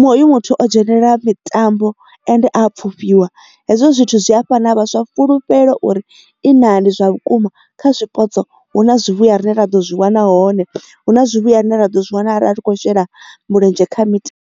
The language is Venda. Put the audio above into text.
hoyu muthu o dzhenelela mitambo ende a pfufhiwa hezwo zwithu zwi a fhana vhaswa fulufhelo uri i na ndi zwa vhukuma kha zwipotso hu na zwivhuya rine ra ḓo zwi wana hone hu na zwivhuya rine ra ḓo zwi wana a khou shela mulenzhe kha mitambo.